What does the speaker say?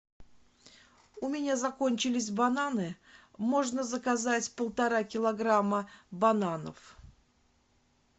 у меня закончились бананы можно заказать полтора килограмма бананов